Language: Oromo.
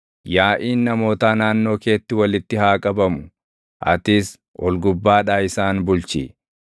Yaaʼiin namootaa naannoo keetti walitti haa qabamu; atis ol gubbaadhaa isaan bulchi.